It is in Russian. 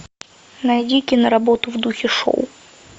найди кино работу в духе шоу